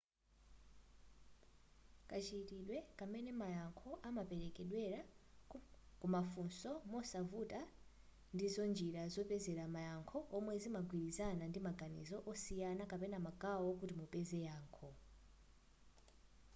kachitidwe kam'mene mayankho amaperekedwera kumafunso mosavuto ndizo njira zopezera mayankho zomwe zimagwirizana ndi maganizo osiyana kapena magawo kuti mupeze yankho